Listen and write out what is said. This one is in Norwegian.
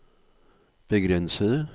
begrensede